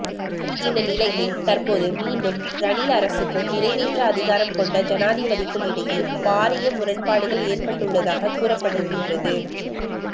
இந்த நிலையில் தற்போது மீண்டும் ரணில் அரசுக்கும் நிறைவேற்று அதிகாரம் கொண்ட ஜனாதிபதிக்குமிடையே பாரிய முரண்பாடுகள் ஏற்பட்டுள்ளதாக கூறப்படுகின்றது